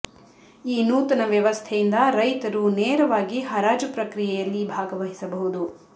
ಈ ನೂತನ ವ್ಯವಸ್ಥೆಯಿಂದ ರೈತರು ನೇರವಾಗಿ ಹರಾಜು ಪ್ರಕ್ರಿ ಯೆಯಲ್ಲಿ ಭಾಗವಹಿಸಬಹುದು